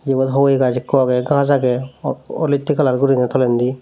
ibot hogiye gaj ekko age ghaj aage o olotti colour guri tolendi.